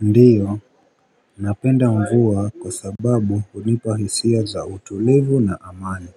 Ndiyo napenda mvua kwa sababu hunipa hisia za utulivu na amani